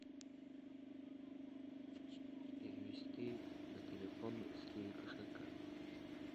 перевести на телефон с киви кошелька